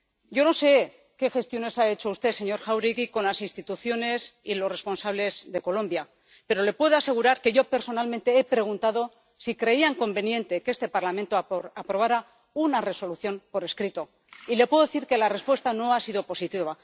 Yo no sé qué gestiones ha hecho usted, señor Jáuregui, con las instituciones y los responsables de Colombia, pero le puedo asegurar que yo personalmente he preguntado si creían conveniente que este Parlamento aprobara una Resolución por escrito, y le puedo decir que la respuesta no ha sido positiva.